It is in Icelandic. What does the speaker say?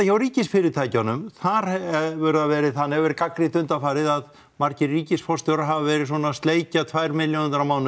hjá ríkisfyrirtækjunum þar hefur það verið þannig verið gagnrýnt undanfarið að margir ríkisforstjórar hafa verið svona að sleikja tvær milljónirnar á mánuði